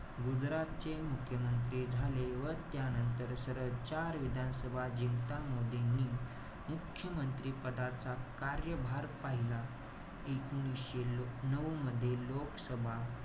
गुजरातचे मुख्यमंत्री झाले. व त्यानंतर सलग चार विधानसभा जिंकता, मोदींनी मुख्यमंत्री पदाचा, कार्यभार पहिला. एकोणीशे नऊ मध्ये लोकसभा,